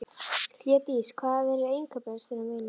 Hlédís, hvað er á innkaupalistanum mínum?